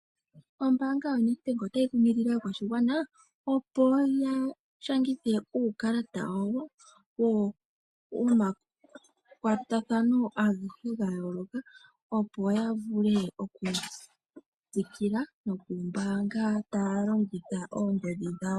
Ombaanga ya Nedbank otayi kunkilile aakwashigwana opo ya nyolithe uukalata wa wo gomakwatathano agehe ga yooloka, opo ya vule oku tsikila no ku mbaanga taya longitha oongodhi dhawo.